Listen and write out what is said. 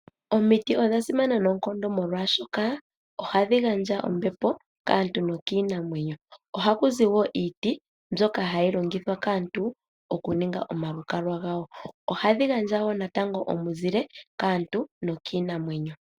Omiiti odhasimana noonkondo molwashoka hadhi gandja oombepo kaantu nokiinamwenyo, ohaku zi wo iiti mbyoka hayi longithwa kaantu okuninga omalukalwa gawo ohadhi gandja wo natango omuzile kaantu nokiinamwenyo.